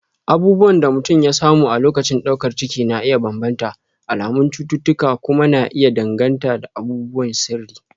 abubuwan da mutum ya samu a lokacin daukar ciki na iya bambanta, alamun cututtuka kuma na iya danganta da abubuwan sirri